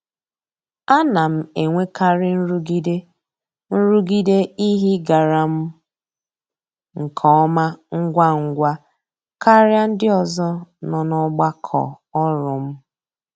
A na m enwekarị nrụgide nrụgide ihe ịgara m nke ọma ngwa ngwa karịa ndị ọzọ nọ n'ọgbakọ ọrụ m.